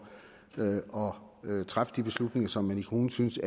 at træffe de beslutninger som man i kommunen synes